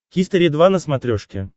хистори два на смотрешке